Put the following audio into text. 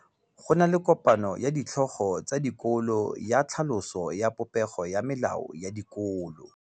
Go na le kopanô ya ditlhogo tsa dikolo ya tlhaloso ya popêgô ya melao ya dikolo.